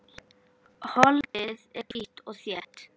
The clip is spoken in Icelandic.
Holdið er hvítt og þétt.